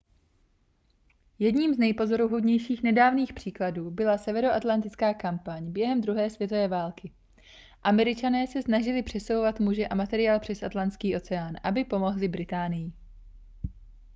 jedním z nejpozoruhodnějších nedávných příkladů byla severoatlantická kampaň během druhé světové války američané se snažili přesouvat muže a materiál přes atlantský oceán aby pomohli británii